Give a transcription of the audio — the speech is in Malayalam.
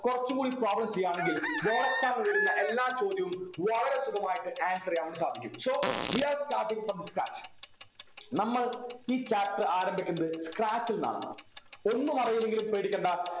കൊറച്ചും കൂടി problems ചെയ്യാമെങ്കിൽ board exam നു വരുന്ന എല്ലാ ചോദ്യവും വളരെ സുഗമായിട്ട് answer ചെയ്യാൻ വേണ്ടി സാധിക്കും so we are starting from the scratch നമ്മൾ ഈ chapter ആരംഭിക്കുന്നത് scratch ൽന്നാണ് ഒന്നുമറിയില്ലെങ്കിലും പേടിക്കണ്ട